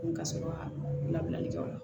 Ka sɔrɔ ka labilali kɛ o la